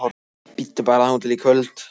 Bíddu bara þangað til í kvöld